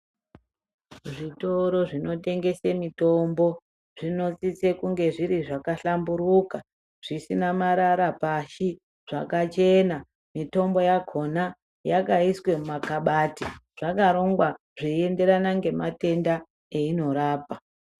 Zvitoro zvinotengesa mitombo zvinosise kunge zviri zvakahlamburuka zvisina marara pashi zvakachena mitombo yakona yakaiswa mumagabati zvakarongwa zveienderana ngematenda ainorapa.